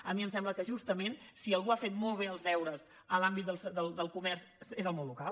a mi em sembla que justament si algú ha fet molt bé els deures en l’àmbit del comerç és el món local